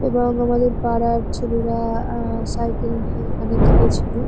এবং আমাদের পাড়ার ছেলেরা আ সাইকেল নিয়ে এখানে গিয়েছিল।